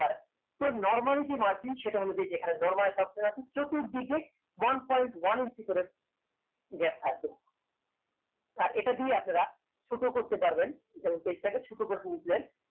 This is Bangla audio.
তো normally যে margin সেটা হল এইযে এখানে একটা normal option আছে চতুর্দিকে one point one inches করে gap থাকবে আর এটা দিয়ে আপনারা ছোট করতে পারবেন যেমন page টাকে ছোট করে নিলেন